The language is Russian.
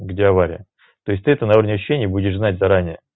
где авария то есть ты это на уровне ощущения будешь знать заранее